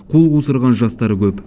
қол қусырған жастар көп